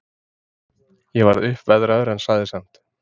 Ég varð uppveðraður, en sagði samt